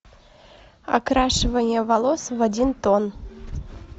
окрашивание волос в один тон